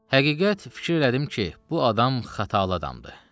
Həqiqət fikir elədim ki, bu adam xatalı adamdır.